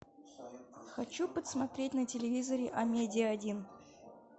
хочу посмотреть на телевизоре амедиа один